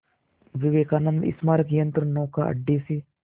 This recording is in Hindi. विवेकानंद स्मारक यंत्रनौका अड्डे से